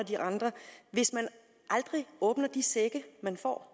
hvis man aldrig åbner de sække man får